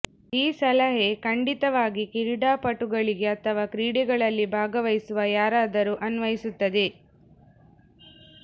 ಈ ಸಲಹೆ ಖಂಡಿತವಾಗಿ ಕ್ರೀಡಾಪಟುಗಳಿಗೆ ಅಥವಾ ಕ್ರೀಡೆಗಳಲ್ಲಿ ಭಾಗವಹಿಸುವ ಯಾರಾದರೂ ಅನ್ವಯಿಸುತ್ತದೆ